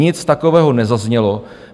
Nic takového nezaznělo.